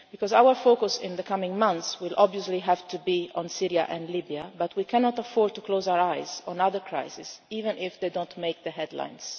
Yemen. Our focus in the coming months will obviously have to be on Syria and Libya, but we cannot afford to close our eyes to other crises, even if they do not make the